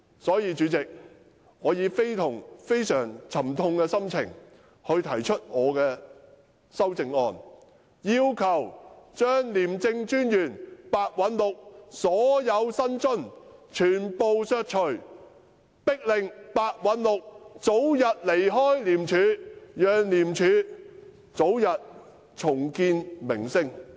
因此，主席，我以非常沉痛的心情提出我的修正案，要求全數削除廉政專員白韞六的薪津，迫使這人盡早離開廉署，好讓廉署早日重建名聲。